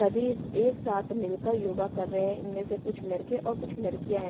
सभी एक साथ मिलकर योगा कर रहे हैं इनमें से कुछ लड़के और कुछ लड़कियां है।